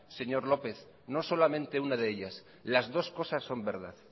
señor lópez no solamente una de ellas las dos cosas son verdad